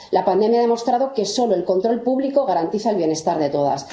La pandemia ha demostrado que solo el control público garantiza el bienestar de todas.